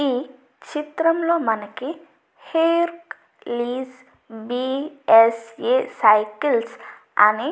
ఈ చిత్రం లో ఒక నిర్మానుష్యంగా ఉండడం మనం గమనించవలును మరియు ఇద్దరు వ్యక్తులు ఉండడం మనం చూడవచ్చును.